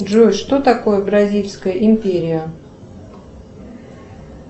джой что такое бразильская империя